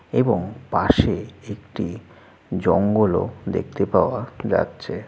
এবং পাশে একটি জঙ্গল ও দেখতে পাওয়া যাচ্ছে ।